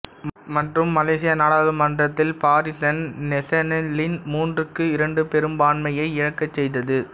மற்றும் மலேசிய நாடாளுமன்றத்தில் பாரிசான் நேசனல்லின் மூன்றுக்கு இரண்டு பெரும்பான்மையை இழக்கச் செய்தது